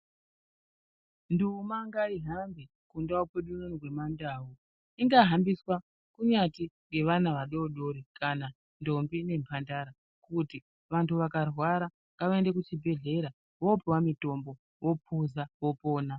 Nduma ngaihambe kundau yedu yemandau Ingahambiswa kunyati nevana vadodori kana ndombi nemhandara kuti vantu Vakarwara ngavaende kuzvibhedhlera vopuwa mitombo vopuza vopona.